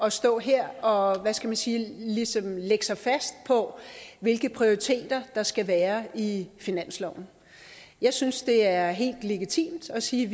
at stå her og hvad skal man sige ligesom lægge sig fast på hvilke prioriteter der skal være i finansloven jeg synes det er helt legitimt at sige